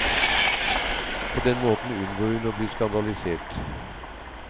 På den måten unngår hun å bli skandalisert.